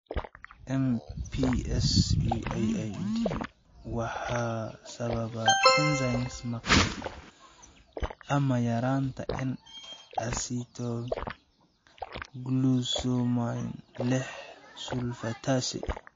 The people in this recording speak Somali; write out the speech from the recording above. MPS IIID waxaa sababa enzyme maqan ama yaraanta N acetylglucosamine liix sulfatase.